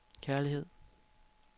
kærlighed